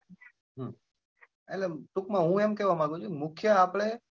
હમ એટલે ટૂંક માં હું એમ કેવા માંગું છું કે મુખ્ય આપડે.